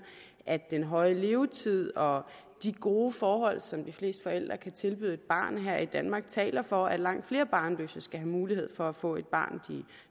at den høje levetid og de gode forhold som de fleste forældre kan tilbyde et barn her i danmark taler for at langt flere barnløse skal have mulighed for at få det barn